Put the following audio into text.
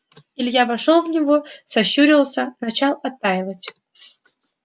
илья вошёл в него сощурился начал оттаивать